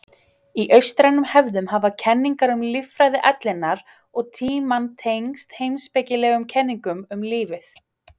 Í austrænum hefðum hafa kenningar um líffræði ellinnar og tímann tengst heimspekilegum kenningum um lífið.